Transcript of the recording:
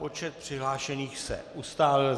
Počet přihlášených se ustálil.